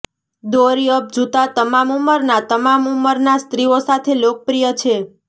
દોરી અપ જૂતા તમામ ઉંમરના તમામ ઉંમરના સ્ત્રીઓ સાથે લોકપ્રિય છે